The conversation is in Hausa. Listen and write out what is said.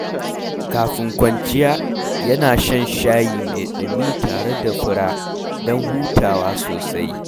Kafin kwanciya, yana shan shayi mai ɗumi tare da fura don hutawa sosai.